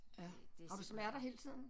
Ja har du smerter hele tiden